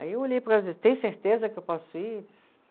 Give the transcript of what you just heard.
Aí eu olhei, tem certeza que eu posso ir?